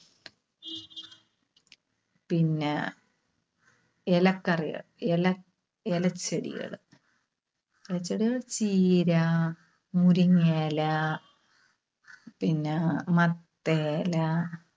പിന്നെ ഇലക്കറികൾ. ഇല ഇലച്ചെടികള്. എന്നുവെച്ചാല് ചീര, മുരിങ്ങയില പിന്നെ മത്തയില